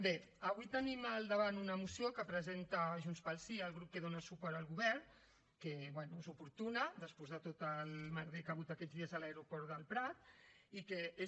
bé avui tenim al davant una moció que presenta junts pel sí el grup que dona suport al govern que bé és oportuna després de tot el merder que hi ha hagut aquests dies a l’aeroport del prat i que és